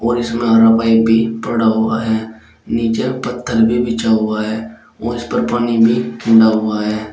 और इसमें हरा पाइप भी पड़ा हुआ है नीचे पत्थर भी बिछा हुआ है उसपर पानी भी हुआ है।